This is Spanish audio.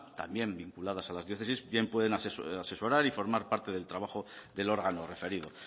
también vinculadas a las diócesis bien pueden asesorar y formar parte del trabajo del órgano referido